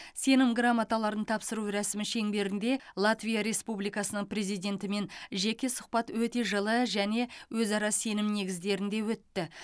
сенім грамоталарын тапсыру рәсімі шеңберінде латвия республикасының президентімен жеке сұхбат өте жылы және өзара сенім негіздерінде өтті